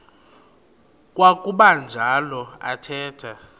kwakuba njalo athetha